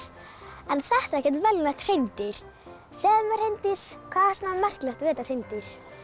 en þetta er ekkert venjulegt hreindýr segðu mér Hreindís hvað er svona merkilegt við þetta hreindýr